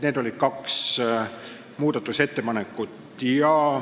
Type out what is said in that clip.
Need olid kaks muudatusettepanekut.